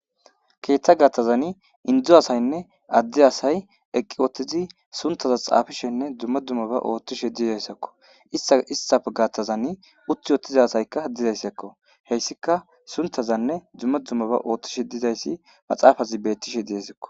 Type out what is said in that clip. keeththa gaththazani hedzu asaynne addi asay eqqi wottizi suntaza xaafishenne dumma dummaba oothtishe diidayssakko istaa istaf gaththazan utti wotiza asaykka didayssekko heyssika suntazanne dumma dummaba oothtishe dizayssi maxaafazi beettishe deezikko